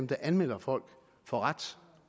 der anmelder folk får ret